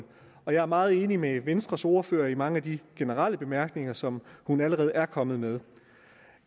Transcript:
og jeg er meget enig med venstres ordfører i mange af de generelle bemærkninger som hun allerede er kommet med